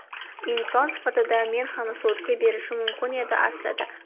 Inson sifatida men ham sudga berishim mumkin edi aslida.